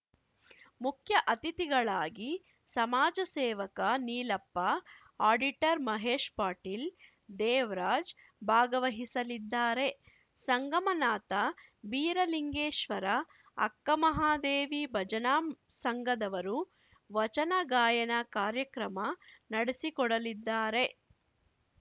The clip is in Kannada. ಮುಖ್ಯ ಅತಿಥಿಗಳಾಗಿ ಸಮಾಜ ಸೇವಕ ನೀಲಪ್ಪ ಅಡಿಟರ್‌ ಮಹೇಶ್‌ ಪಾಟೀಲ್‌ ದೇವ್ರಾಜ್‌ ಭಾಗವಹಿಸಲಿದ್ದಾರೆ ಸಂಗಮನಾಥ ಬೀರಲಿಂಗೇಶ್ವರ ಅಕ್ಕಮಹಾದೇವಿ ಭಜನಾ ಸಂಘದವರು ವಚನ ಗಾಯನ ಕಾರ್ಯಕ್ರಮ ನಡೆಸಿಕೊಡಲಿದ್ದಾರೆ